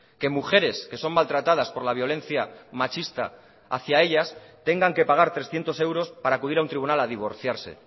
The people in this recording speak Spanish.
que mujeres que son maltratadas por la violencia machista hacia ellas tengan que pagar trescientos euros para acudir a un tribunal a divorciarse